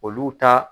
Olu ta